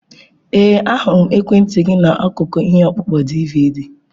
Ee, ahụrụ m ekwentị gị n'akụkụ ihe ọkpụkpọ DiiViiDi.